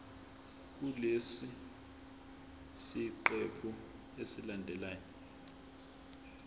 kulesi siqephu esilandelayo